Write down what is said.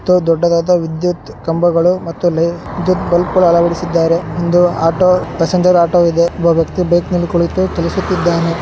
ಮತ್ತು ದೊಡ್ಡದಾದ ವಿದ್ಯುತ್ ಕಂಬಗಳು ಮತ್ತು ವಿದ್ಯುತ್ ಬಲ್ಬ್ ಗಳು ಅಳವಡಿಸಿದ್ದಾರೆ ಒಂದು ಆಟೋ ಪ್ಯಾಸೆಂಜರ್ ಆಟೋ ಇದೆ ಒಬ್ಬ ವ್ಯಕ್ತಿ ಬೈಕ್ ಮೇಲೆ ಕುಳಿತು ಚಲಿಸುತ್ತಿದ್ದಾನೆ.